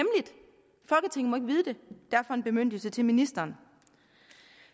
vide det derfor en bemyndigelse til ministeren